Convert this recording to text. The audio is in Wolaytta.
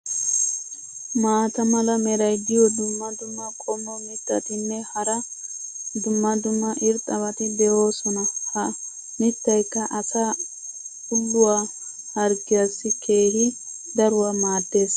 maata mala meray diyo dumma dumma qommo mitattinne hara dumma dumma irxxabati de'oosona. ha mitaykka asaa ulluwaa harggiyaassi keehi daruwa maadees.